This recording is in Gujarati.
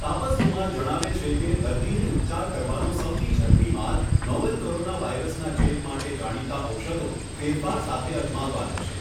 તાપસ કુમાર જણાવે છે કે દર્દીને ઉપચાર કરવાનો સૌથી ઝડપી માર્ગ નોવેલ કોરોના વાયરસના ચેપ માટે જાણીતા ઔષધો ફેરફાર સાથે અજમાવવાનો છે.